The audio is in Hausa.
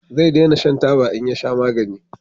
Zai dena shan taba in ya sha magani